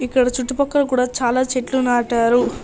ఇక్కడ చుట్టుపక్కల కూడా చాల చెట్లు నాటారు.